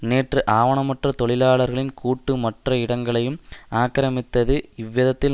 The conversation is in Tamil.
நேற்று ஆவணமற்ற தொழிலாளிர்களின் கூட்டு மற்ற இடங்களையும் ஆக்கிரமித்தது இவ்விதத்தில்